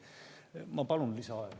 Ma palun lisaaega.